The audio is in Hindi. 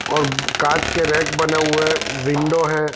और काच के रेक बने हुए है और विंडो है।